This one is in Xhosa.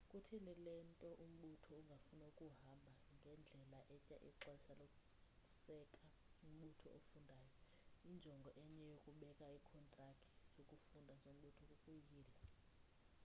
kutheni le nto umbutho ungafuna ukuhamba ngendlela etya ixesha lokuseka umbutho ofundayo injongo enye yokubeka iikhontrakthi zokufunda zombutho kukuyila